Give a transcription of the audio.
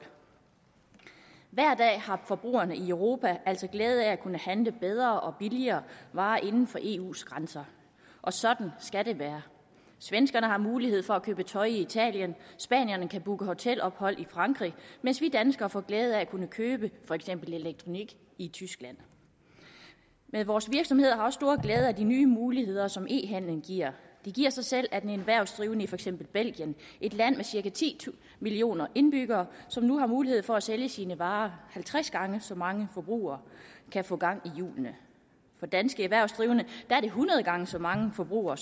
hver dag har forbrugerne i europa altså glæde af at kunne handle bedre og billigere varer inden for eus grænser og sådan skal det være svenskerne har mulighed for at købe tøj i italien spanierne kan booke hotelophold i frankrig mens vi danskere får glæde af at kunne købe for eksempel elektronik i tyskland vores virksomheder har også stor glæde af de nye muligheder som e handelen giver det giver sig selv at en erhvervsdrivende i for eksempel belgien et land med cirka ti millioner indbyggere som nu har mulighed for at sælge sine varer halvtreds gange så mange forbrugere kan få gang i hjulene for danske erhvervsdrivende er det hundrede gange så mange forbrugere